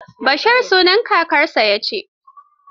Bashir sunan kakansa ya ci.